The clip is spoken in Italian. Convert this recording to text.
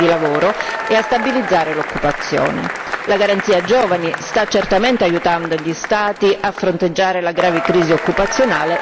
La Garanzia giovani sta certamente aiutando gli Stati a fronteggiare la grave crisi occupazionale, ma non è e non può essere risolutiva.